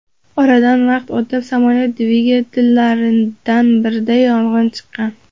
Oradan vaqt o‘tib, samolyot dvigatellaridan birida yong‘in chiqqan.